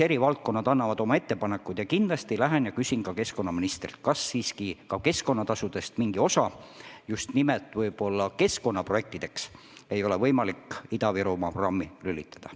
Eri valdkonnad teevad oma ettepanekud ja ma kindlasti lähen ja küsin keskkonnaministrilt, ega ei ole võimalik mingit osa keskkonnatasudest just nimelt Ida-Virumaa programmi keskkonnaprojektideks eraldada.